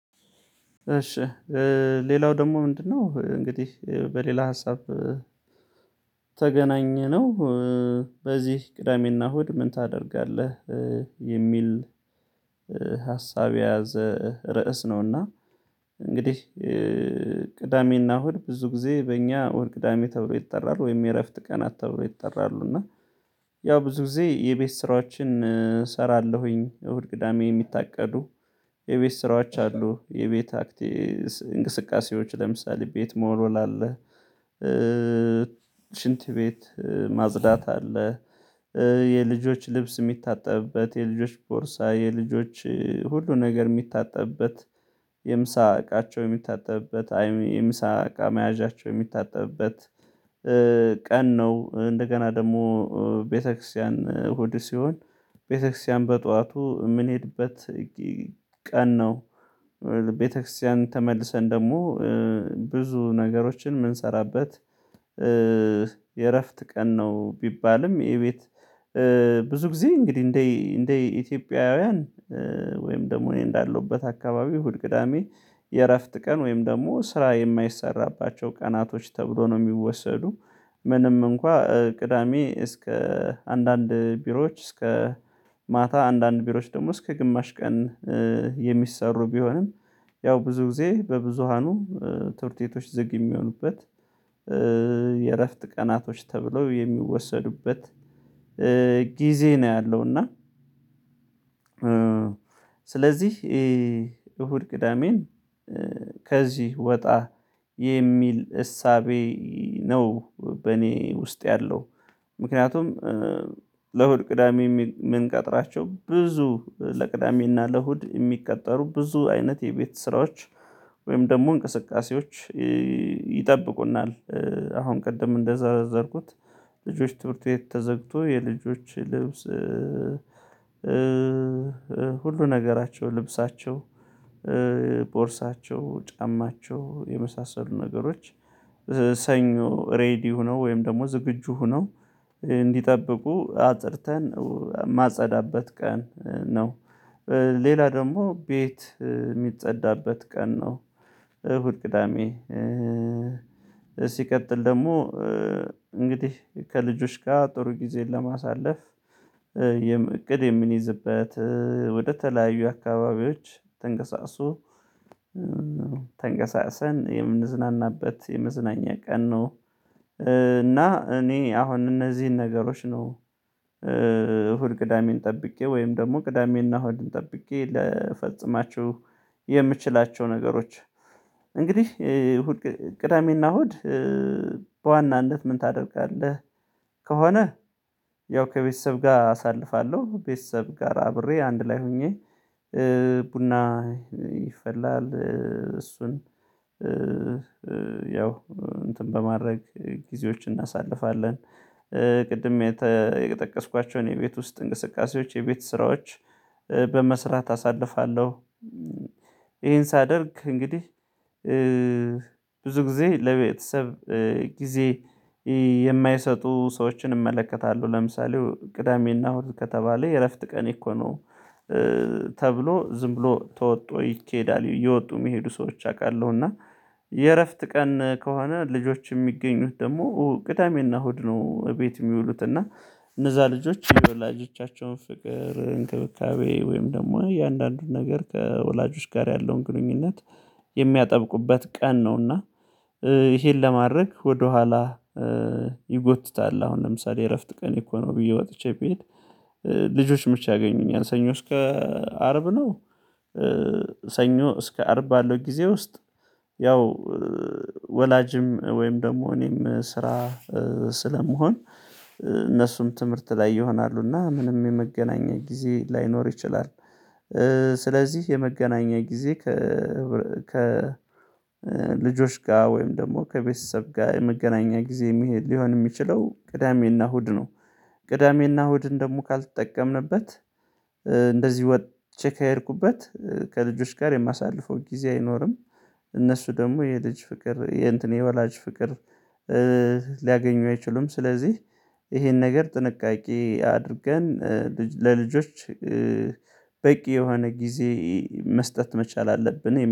እሺ ሌላው ደግሞ ምንድነው እንግዲህ በሌላ ሀሳብ ተገናኘነው በዚህ ቅዳሜና እሁድ ምን ታደርጋለህ? የሚል። የያዘ ርዕስ ነውና። እንግዲህ ቅዳሜና እሁድ ብዙ ጊዜ በእኛ እሁድ ቅዳሜ ተብሎ ይጥራሉ ወይም የእረፍት ቀናት ተብሎ ይጥራሉ እና ያው ብዙ ጊዜ የቤት ስራዎችን እሰራለሁኝ። እሁድ ቅዳሜ የሚታቀዱ የቤት ስራዎች አሉ። የቤት እንቅስቃሴዎች ለምሳሌ ቤት መወልወል አለ። ሽንት ቤት ማጽዳት አለ። የልጆች ልብስ የሚታጠብበት የልጆች ቦርሳ የልጆች ሁሉን ነገር የሚታጠብበት የምሳ እቃቸው የሚታጠብበት የምሳ እቃ መያዣቸው የሚታጠብበት ቀን ነው። እንደገና ደግሞ ቤተክርስቲያን እሁድ ሲሆን ቤተክርስቲያን በጧቱ የምንሄድበት ቀን ነው። ቤተክርስቲያን ተመልሰን ደግሞ ብዙ ነገሮችን የምንሰራበት የእረፍት ቀን ነው። ቢባልም ይሄ ቤት ብዙ ጊዜ እንግዲህ እንደ ኢትዮጵያውያን ወይም ደግሞ እኔ እንዳለሁበት አካባቢ እሁድ ቅዳሜ የእረፍት ቀን ወይም ደግሞ ስራ የማይሰራባቸው ቀናቶች ተብሎ ነው የሚወሰዱ። ምንም እንኳን ቅዳሜ እስከ አንዳንድ ቢሮዎች እስከ ማታ አንዳንድ ቢሮዎች ደግሞ እስከ ግማሽ ቀን የሚሰሩ ቢሆንም። ያው ብዙ ጊዜ በብዙሃኑ ትምህርት ቤቶች ዝግ የሚሆኑበት። የእረፍት ቀናቶች ተብለው የሚወሰዱበት ጊዜ ነው ያለው እና። ስለዚህ እሁድ ቅዳሜን ከዚህ ወጣ የሚል እሳቤ ነው በእኔ ውስጥ ያለው። ምክንያቱም ለእሁድ ቅዳሜ የሚል የምንቀጥራቸው ብዙ ለቅዳሜና ለእሁድ የሚቀጠሩ ብዙ አይነት የቤት ስራዎች ወይም ደግሞ እንቅስቃሴዎች ይጠብቁናል። አሁን ቅድም እንደዘረዘርኩት ልጆች ትምህርት ቤት ተዘግቶ የልጆች ልብስ ሁሉ ነገራቸው ልብሳቸው ቦርሳቸው ጫማቸው የመሳሰሉ ነገሮች ሰኞ ሬዲ ሆነው ወይም ደግሞ ዝግጁ ሆነው እንዲጠብቁ አጥርተን ማጸዳበት ቀን ነው። ሌላ ደግሞ ቤት የሚጸዳበት ቀን ነው። እሁድ ቅዳሜ ሲቀጥል ደግሞ እንግዲህ ከልጆች ጋር ጥሩ ጊዜን ለማሳለፍ እቅድ የምንይዝበት ወደተለያዩ አካባቢዎች ተንቀሳቅሶ ተንቀሳቅሰን የምንዝናናበት የመዝናኛ ቀን ነው። እና እኔ አሁን እነዚህን ነገሮች ነው። እሁድ ቅዳሜን ጠብቄ ወይም ደግሞ ቅዳሜና እሁድን ጠብቄ ልፈጽማችሁ የምችላቸው ነገሮች። እንግዲህ እሁድ ቅዳሜና እሁድ በዋናነት ምን ታደርጋለህ? ከሆነ ያው ከቤተሰብ ጋር አሳልፋለሁ ቤተሰብ ጋር አብሬ አንድ ላይ ሆኜ ቡና ይፈላል እሱን ያው እንትን በማድረግ ጊዜዎችን እናሳልፋለን። ቅድም የጠቀስኳቸውን የቤት ውስጥ እንቅስቃሴዎች የቤት ስራዎች በመስራት አሳልፋለሁ። ይሄን ሳደርግ እንግዲህ ብዙ ጊዜ ለቤተሰብ ጊዜ የማይሰጡ ሰዎችን እመለከታለሁ ለምሳሌ ቅዳሜና እሁድ ከተባለ የእረፍት ቀን እኮ ነው። ተብሎ ዝም ብሎ ተወጥቶ ይኬዳል እየወጡ የሚሄዱ ሰዎች አውቃለሁ። እና የእረፍት ቀን ከሆነ ልጆች የሚገኙት ደግሞ ቅዳሜና እሁድ ነው ቤት የሚውሉት እና እነዛ ልጆች የወላጆቻቸውን ፍቅር እንክብካቤ ወይም ደግሞ የእያንዳንዱን ነገር ከወላጆች ጋር ያለውን ግንኙነት የሚያጠብቁበት ቀን ነውና። ይሄን ለማድረግ ወደኋላ ይጎትታል አሁን ለምሳሌ እረፍት ቀን እኮ ነው ብዬ ወጥቼ ብሄድ ልጆች መች ያገኙኛል? ሰኞች ከአርብ ነው። ሰኞ እስከ አርብ ባለው ጊዜ ውስጥ ያው ወላጅም ወይም ደግሞ እኔም ስራ ስለመሆን እነሱም ትምህርት ላይ ይሆናሉ እና ምንም የመገናኛ ጊዜ ላይኖር ይችላል። ስለዚህ የመገናኛ ጊዜ ከ ከልጆች ጋር ወይም ደግሞ ከቤተሰብ ጋር የመገናኛ ጊዜ መሄድ ሊሆን የሚችለው ቅዳሜና እሁድ ነው። ቅዳሜና እሁድ ደሞ ካልተጠቀምንበት እንደዚህ ወጥቼ ከሄድኩበት ከልጆች ጋር የማሳልፈው ጊዜ አይኖርም። እነሱ ደግሞ የልጅ ፍቅር የእንትን የወላጅ ፍቅር ሊያገኙ አይችሉም። ስለዚህ ይሄን ነገር ጥንቃቄ አድርገን ለልጆች በቂ የሆነ ጊዜ መስጠት መቻል አለብን